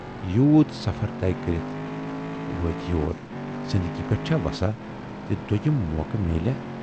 یوٗت سفر طے کٔرِتھ وٲتۍ یور، زِندگی پٮ۪ٹھ چھا وساہ زِ دویِم موقعہٕ میلیاہ۔